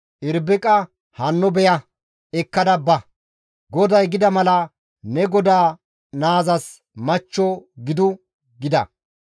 Irbiqa hanno beya; ekkada ba! GODAY gida mala ne godaa naazas machcho gidu» gida.